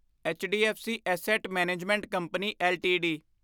HDFC asset management company LTD